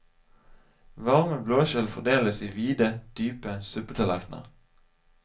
Varme blåskjell fordeles i vide, dype suppetallerkener.